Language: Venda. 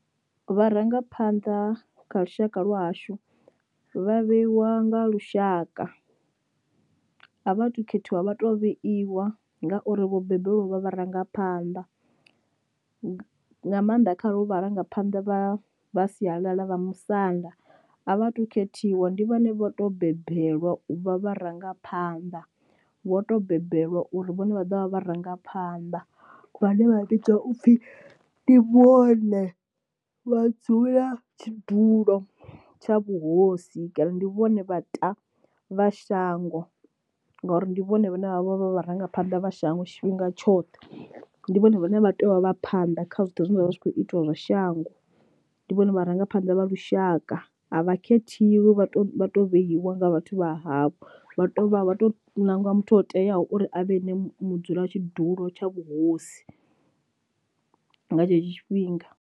Vharangaphanḓa kha lushaka lwahashu vha vheiwa nga lushaka, a vha to khethiwa vha to vheiwa ngauri vho bebe lwa vha vharangaphanḓa, nga nga maanḓa kharo vharangaphanḓa vha vha sialala vha musanda a vha tu khethiwa ndi vhone vho to bebelwa u vha vharangaphanḓa, vho to bebelwa uri vhone vha dovha vha vharangaphanḓa vhane vha vhidzwa upfhi ndi vhone vha dzulela tshidulo tsha vhuhosi kana ndi vhone vha ta vha shango ngauri ndi vhone vhane vha vha vha vharangaphanḓa vha shango tshifhinga tshoṱhe. Ndi vhone vhane vha tea u vha vha phanḓa kha zwoṱhe zwine zwavha zwi kho itiwa zwa shango ndi vhone vharangaphanḓa vha lushaka, a vha khethiwi vha to vha to vheiwa nga vhathu vha havho vha to vha vha to ṋangiwa muthu o teaho uri a vhe ene mudzulatshidulo tsha vhuhosi, nga tshetsho tshifhinga.